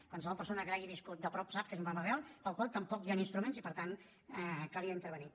qualsevol persona que l’hagi viscut de prop sap que és un problema real pel qual tampoc hi han instruments i per tant calia intervenir